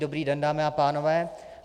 Dobrý den, dámy a pánové.